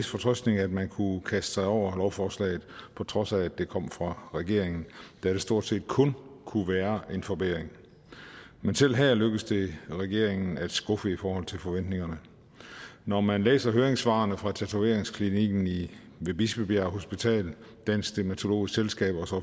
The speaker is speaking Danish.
fortrøstning at man kunne kaste sig over lovforslaget på trods af at det kom fra regeringen da det stort set kun kunne være en forbedring men selv her lykkes det regeringen at skuffe forventningerne når man læser høringssvarene fra tatoveringsklinikken ved bispebjerg hospital dansk dermatologisk selskab og